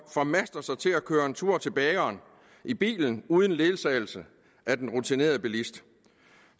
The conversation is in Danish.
formaster sig til at køre en tur til bageren i bilen uden ledsagelse af en rutineret bilist